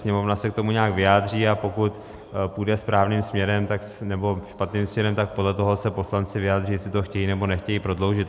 Sněmovna se k tomu nějak vyjádří, a pokud půjde správným směrem, nebo špatným směrem, tak podle toho se poslanci vyjádří, jestli to chtějí, nebo nechtějí prodloužit.